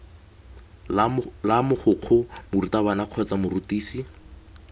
la mogokgo morutabana kgotsa morutisi